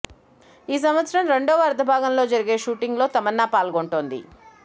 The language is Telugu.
ఈ సంవత్సరం రెండవ అర్ధభాగంలో జరిగే షూటింగ్ లో తమన్నా పాల్గొంటుంది